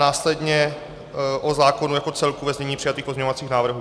Následně o zákonu jako celku ve znění přijatých pozměňovacích návrhů.